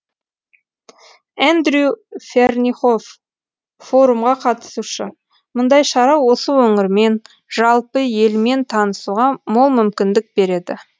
эндрю фернихоф форумға қатысушы мұндай шара осы өңірмен жалпы елмен танысуға мол мүмкіндік береді